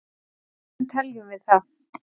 hvernig teljum við það